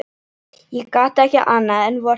Ég gat ekki annað en vorkennt þeim.